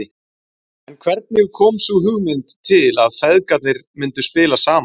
En hvernig kom sú hugmynd til að feðgarnir myndu spila saman?